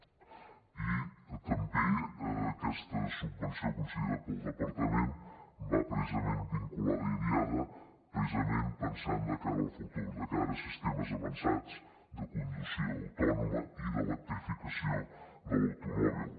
i també aquesta subvenció concedida pel departament va precisament vinculada a idiada pensant de cara al futur de cara a sistemes avançats de conducció autònoma i d’electrificació de l’automòbil